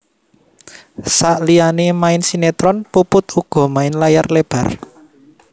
Saliyané main sinetron Puput uga main layar lebar